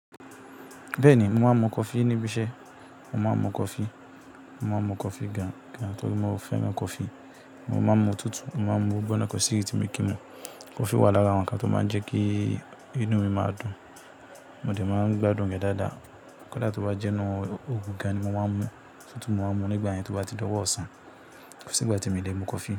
Bẹ́ẹ̀ni, mo máa ń mu coffee níbi iṣẹ́, mo máa ń mu coffee, mo máa ń mu coffee gan-an torí mo fẹ́ràn coffee. Mo máa ń mu tútù, mo máa ń mu gbigbọ́nà ko si eyi tí mi kin mu. Coffee wà lára àwọn ǹkan tó máa ń jẹ́ kí inú mi máa dùn, mo dẹ̀ máa ń gbádùn rẹ̀ dáadáa. Kọ́ dà tó bá jẹ́ inú òògùn gan-an ni mo máa ń mu, otutu máa ń mu nígbà yen tó bá ti dọ́wọ́ ọ̀sán. Ko sí igbà tí mi o lè mu coffee.